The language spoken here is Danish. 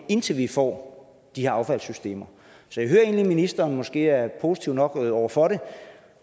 indtil vi får de her affaldssystemer så jeg hører egentlig at ministeren måske er positiv nok over for det